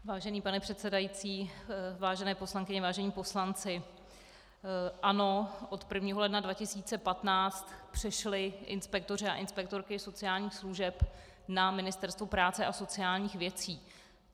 Vážený pane předsedající, vážené poslankyně, vážení poslanci, ano, od 1. ledna 2015 přešli inspektoři a inspektorky sociálních služeb na Ministerstvo práce a sociálních věcí.